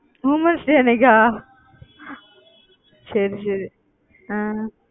womens day அன்னைக்கா சரி சரி ஹம்